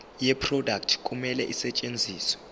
yeproduct kumele isetshenziswe